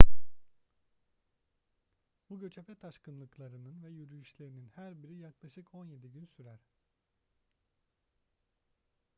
bu göçebe taşkınlıklarının ve yürüyüşlerinin her biri yaklaşık 17 gün sürer